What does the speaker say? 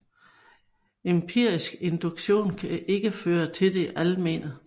Empirisk induktion kan ikke føre til det almene